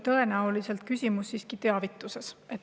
Tõenäoliselt ei ole küsimus siiski teavituses.